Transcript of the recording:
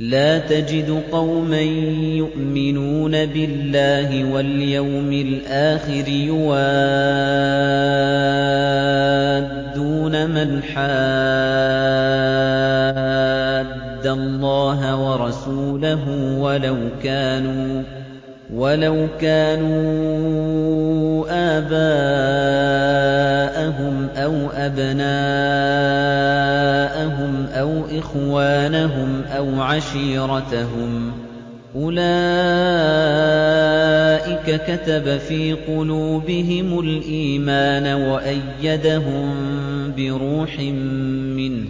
لَّا تَجِدُ قَوْمًا يُؤْمِنُونَ بِاللَّهِ وَالْيَوْمِ الْآخِرِ يُوَادُّونَ مَنْ حَادَّ اللَّهَ وَرَسُولَهُ وَلَوْ كَانُوا آبَاءَهُمْ أَوْ أَبْنَاءَهُمْ أَوْ إِخْوَانَهُمْ أَوْ عَشِيرَتَهُمْ ۚ أُولَٰئِكَ كَتَبَ فِي قُلُوبِهِمُ الْإِيمَانَ وَأَيَّدَهُم بِرُوحٍ مِّنْهُ ۖ